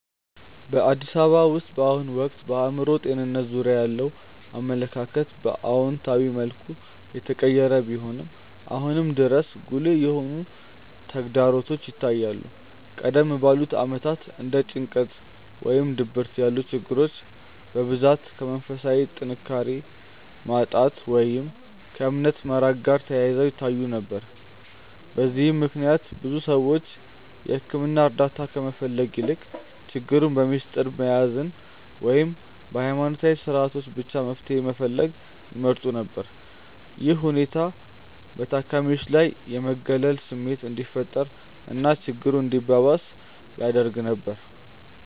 በአዲስ አበባ ውስጥ በአሁኑ ወቅት በአእምሮ ጤንነት ዙሪያ ያለው አመለካከት በአዎንታዊ መልኩ እየተቀየረ ቢሆንም፣ አሁንም ድረስ ጉልህ የሆኑ ተግዳሮቶች ይታያሉ። ቀደም ባሉት ዓመታት እንደ ጭንቀት ወይም ድብርት ያሉ ችግሮች በብዛት ከመንፈሳዊ ጥንካሬ ማጣት ወይም ከእምነት መራቅ ጋር ተያይዘው ይታዩ ነበር። በዚህም ምክንያት ብዙ ሰዎች የሕክምና እርዳታ ከመፈለግ ይልቅ ችግሩን በምስጢር መያዝን ወይም በሃይማኖታዊ ስነስርዓቶች ብቻ መፍትሄ መፈለግን ይመርጡ ነበር። ይህ ሁኔታ በታካሚዎች ላይ የመገለል ስሜት እንዲፈጠር እና ችግሩ እንዲባባስ ያደርግ ነበር።